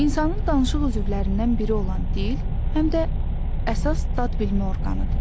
İnsanın danışıq üzvlərindən biri olan dil həm də əsas dadbilmə orqanıdır.